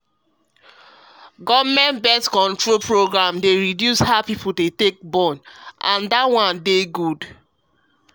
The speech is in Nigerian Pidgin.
government born-control programs dey try reduce how people dey plenty as plan wey go last